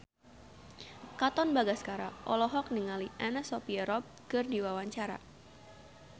Katon Bagaskara olohok ningali Anna Sophia Robb keur diwawancara